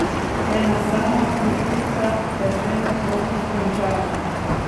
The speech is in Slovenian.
Ena sama puščica te že ne bo pokončala.